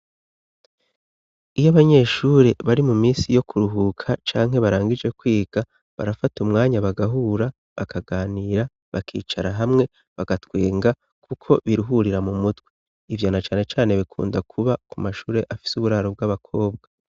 Iyo abanyeshure bari mu minsi yo kuruhuka canke barangije kwiga, barafata umwanya bagahura bakaganira, bakicara hamwe bagatwenga, kuko biruhurira mu mutwe. Ivyo na cane cane bikunda kuba ku mashuri afise uburaro bw'abakobwa.